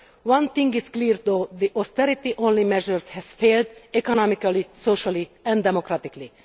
One thing is clear though the austerity only measures have failed economically, socially and democratically.